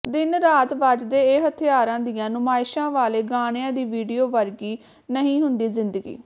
ਦਿਨ ਰਾਤ ਵੱਜਦੇ ਇਹ ਹਥਿਆਰਾਂ ਦੀਆਂ ਨੁਮਾਇਸ਼ਾਂ ਵਾਲੇ ਗਾਣਿਆਂ ਦੀ ਵੀਡੀਓ ਵਰਗੀ ਨਹੀਂ ਹੁੰਦੀ ਜ਼ਿੰਦਗੀ